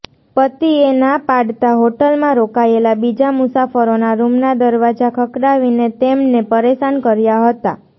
પતિએ ના પાડતાં હોટલમાં રોકાયેલા બીજા મુસાફરોના રૂમના દરવાજા ખખડાવીને તેમને પરેશાન કર્યા હતા